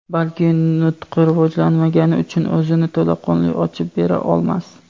balki nutqi rivojlanmagani uchun o‘zini to‘laqonli ochib bera olmas.